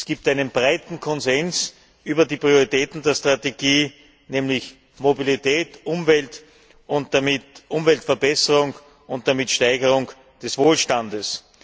Es gibt einen breiten Konsens über die Prioritäten der Strategie, nämlich Mobilität, Umwelt und damit Umweltverbesserung und Steigerung des Wohlstandes.